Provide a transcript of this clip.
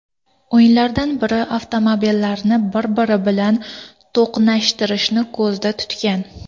O‘yinlardan biri avtomobillarni bir-biri bilan to‘qnashtirishni ko‘zda tutgan.